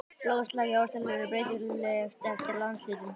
Loftslag í Ástralíu er breytilegt eftir landshlutum.